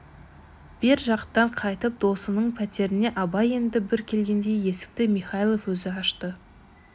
бер жақтан қайтып досының пәтеріне абай енді бір келгенде есікті михайлов өзі ашты